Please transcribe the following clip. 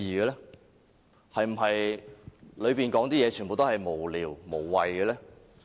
內容是否全部都是無聊、無謂？